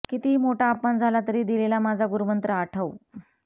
कितीही मोठा अपमान झाला तरी दिलेला माझा गुरुमंत्र आठव